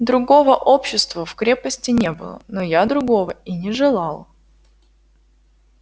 другого общества в крепости не было но я другого и не желал